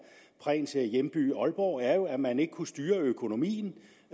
prehns hjemby aalborg er jo at man ikke kunne styre økonomien